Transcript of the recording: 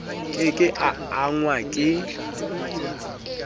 ke ke a angwa ke